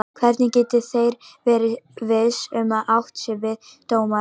Hvernig getið þér verið viss um að átt sé við dómarann?